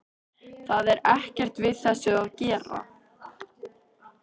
Það er ekkert við þessu að gera.